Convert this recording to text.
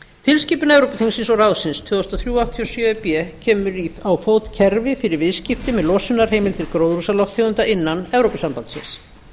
tilskipun evrópuþingsins og ráðsins tvö þúsund og þrjú áttatíu og sjö e b kemur á fót kerfi fyrir viðskipti með losunarheimildir gróðurhúsalofttegunda innan evrópusambandsins